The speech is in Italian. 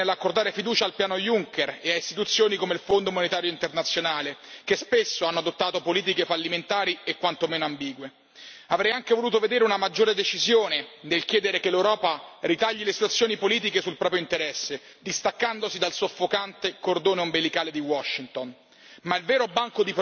relazione pecca sicuramente nell'accordare fiducia al piano Juncker ed a istituzioni come il Fondo monetario internazionale, che spesso hanno adottato politiche fallimentari e quanto meno ambigue. Avrei anche voluto vedere una maggiore decisione nel chiedere che l'Europa ritagli le sue azioni politiche sul proprio interesse, distaccandosi dal soffocante cordone ombelicale di Washington.